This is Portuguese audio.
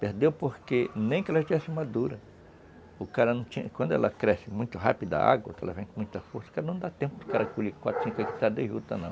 Perdeu porque nem que ela tivesse madura, o cara não tinha, quando ela cresce muito rápido, dá água, ela vem com muita força, o cara não dá tempo do cara colher quatro, cinco hectares de juta, não.